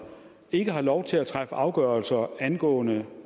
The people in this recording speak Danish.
ikke har lov til at træffe afgørelser angående